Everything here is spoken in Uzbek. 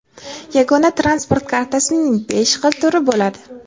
yagona transport kartasining besh xil turi bo‘ladi.